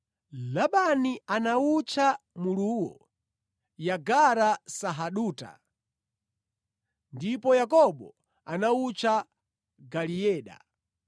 Labani anawutcha muluwo Yegara-sahaduta, ndipo Yakobo anawutcha Galeeda.